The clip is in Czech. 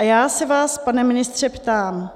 A já se vás, pane ministře, ptám,